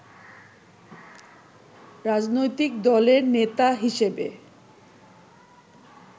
রাজনৈতিক দলের নেতা হিসেবে